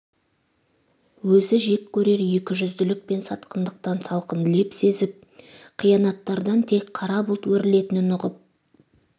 өзі жек көрер екі жүзділік пен сатқындықтан салқын леп сезіп қиянаттардан тек қара бұлт өрілетінін ұғып